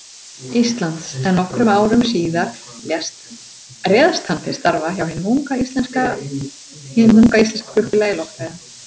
Íslands, en nokkrum árum síðar réðst hann til starfa hjá hinu unga, íslenska flugfélagi, Loftleiðum.